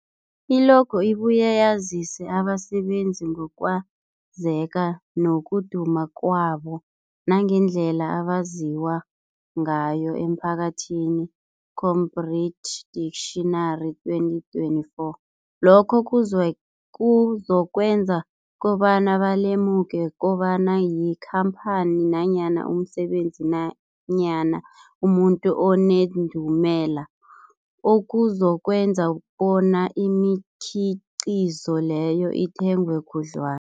I-logo ibuye yazise abasebenzisi ngokwazeka nokuduma kwabo nangendlela abaziwa ngayo emphakathini, Cambridge Dictionary 2024. Lokho kuzwe kuzokwenza kobana balemuke kobana yikhamphani nanyana umsebenzi nanyana umuntu onendumela, okuzokwenza kona imikhiqhizo leyo ithengwe khudlwa